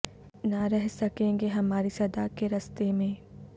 نہ رہ سکیں گے ہماری صدا کے رستے میں